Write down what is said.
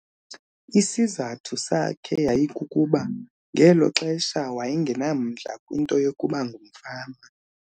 Isizathu sakhe yayikukuba ngelo xesha waye ngenamdla kwinto yokuba ngumfama.